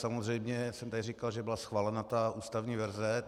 Samozřejmě jsem tady říkal, že byla schválena ta ústavní verze.